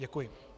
Děkuji.